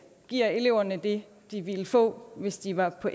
giver eleverne det de ville få hvis de var på